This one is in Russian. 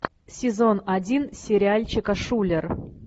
сезон один сериальчика шулер